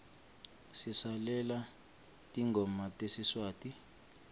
silalela tingoma tesiswati